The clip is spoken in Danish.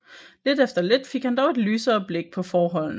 Lidt efter lidt fik han dog et lysere blik på forholdene